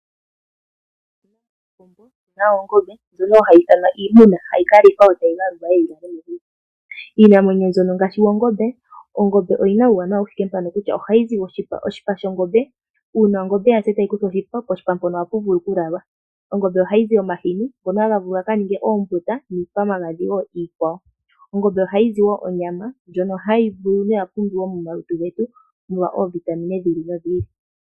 Otu na oongombe ndjono hayi ithanwa iimuna hayi ka lithwa yo tayi galulwa. Iinamwenyo ngaashi oongombe oyi na uuwanawa mbuka kutya ohayi zi oshipa. Uuna ongombe ya si e tayi kuthwa oshipa, oshipa ohashi vulu okulalwa. Kongombe ohaku zi omahini hono hakuzi omagadhi ngono haga vulu okuningwa ombuta niikwamagadhi wo iikwawo. Ongombe ohayi zi onyama ndjono hayi liwa noya pumbiwa momalutu getu molwa oovitamine dhi ili nodhi ili.